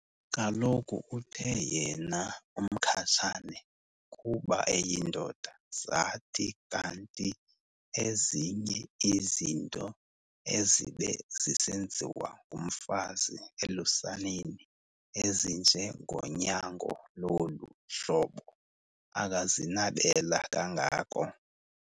Kaloku uthe yena uMkhatshane kuba eyindoda zathi kanti ezinye izinto ezibe zisenziwa ngumfazi elusaneni ezinjengonyango lolu hlobo akazinabela kangako.